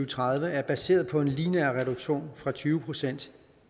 tredive er baseret på en lineær reduktion fra tyve procent